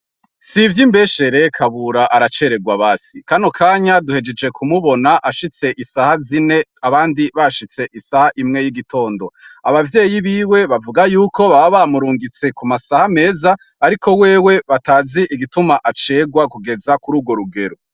Si ivyo imbeshere kabura aracererwa basi kano kanya duhejeje kumubona ashitse isaha zine abandi bashitse isaha imwe y'igitondo abavyeyi biwe bavuga yuko ba bamurungitse ku masaha meza, ariko wewe batazi igituma acerwa kugeza kuri urwo rugero.